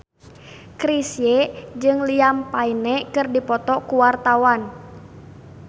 Chrisye jeung Liam Payne keur dipoto ku wartawan